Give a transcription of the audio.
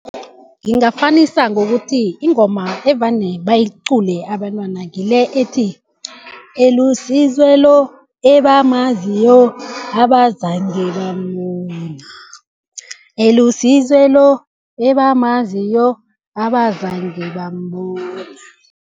Ngingafanisa ngokuthi ingoma evane bayiqule abentwana ngile ethi, eluSizwe lo ebamaziyo abazange bambona, eluSizwe lo ebamaziyo abazange bambona.